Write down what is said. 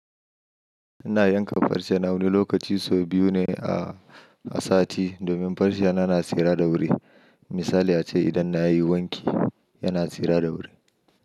Ina yanka farce na wani lokaci sau biyu ne a, a sati domin farce na yana tsira da wuri. Misali a ce idan na yi wanki yana tsira da wuri.